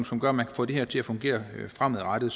som gør at man kan få det her til at fungere fremadrettet